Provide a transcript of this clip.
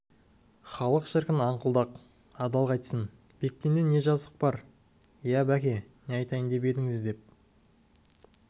халық шіркін аңқылдақ адал қайтсін бектенде не жазық бар иә беке не айтайын деп едіңіз деп